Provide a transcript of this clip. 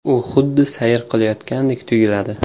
U xuddi sayr qilayotgandek tuyuladi.